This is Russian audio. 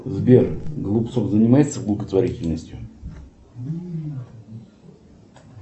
сбер голубцов занимается благотворительностью